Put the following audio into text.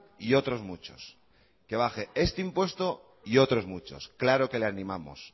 y otros muchos que baje este impuesto y otros muchos claro que le animamos